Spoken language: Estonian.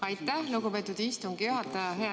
Aitäh, lugupeetud istungi juhataja!